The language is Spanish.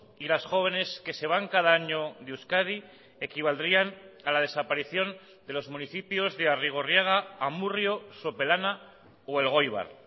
y las jóvenes que se van cada año de euskadi equivaldrían a la desaparición de los municipios de arrigorriaga amurrio sopelana o elgoibar